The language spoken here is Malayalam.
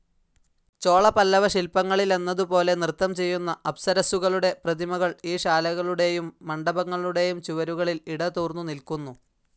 ചോളപല്ലവശില്പങ്ങളിലെന്നതുപോലെ നൃത്തംചെയ്യുന്ന അപ്സരസ്സുകളുടെ പ്രതിമകൾ ഈ ശാലകളുടെയും മണ്ഡപങ്ങളുടെയും ചുവരുകളിൽ ഇടതൂർന്നുനില്ക്കുന്നു.